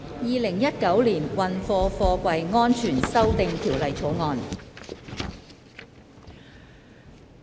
《2019年運貨貨櫃條例草案》。